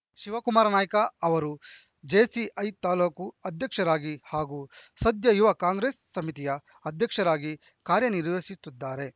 ಶಿವಕುಮಾರನಾಯ್ಕ ಅವರು ಜೆಸಿಐ ತಾಲೂಕು ಅಧ್ಯಕ್ಷರಾಗಿ ಹಾಗೂ ಸದ್ಯ ಯುವ ಕಾಂಗ್ರೆಸ್‌ ಸಮಿತಿಯ ಅಧ್ಯಕ್ಷರಾಗಿ ಕಾರ್ಯನಿರ್ವಹಿಸುತ್ತಿದ್ದಾರೆ